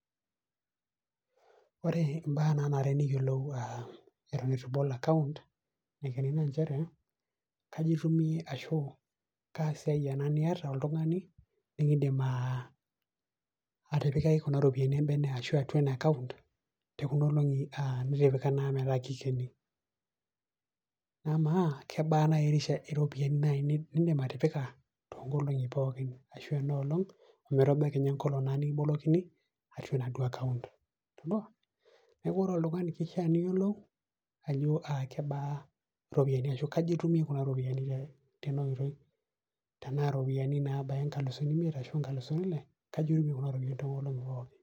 ore ibaa naanare neyiolou eton eitu ibol account naa nchere kaji itumie ashu kaa siai ena niata oltung'ani nikidim atipikaki kuna ropiyiani ebene, ashu ena account ashu nitipika naa metaaa kikeno. amaa kebaa naaji iropiyiani nidim atipika, too nkolong'i pookin, ashu ean olong' ometabau kenya enkolong' nikibolokini enaduoo account. neeku ore oltungani kishaa niyiolou, ajo kebaa iropiyiani ashu kaji itumie kuna ropiyiani tena oitoi, tenaa iropiyiani naabaya inkalusuni imiet ashu, ashu inkalusuni ile.